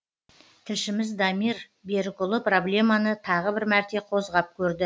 тілшіміз дамир берікұлы проблеманы тағы бір мәрте қозғап көрді